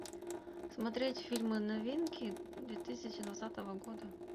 смотреть фильмы новинки две тысячи двадцатого года